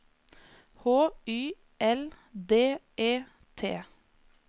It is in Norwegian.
H Y L D E T